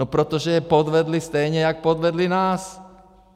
No protože je podvedli stejně jako podvedli nás!